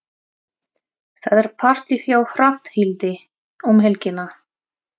Það er partí hjá Hrafnhildi um helgina.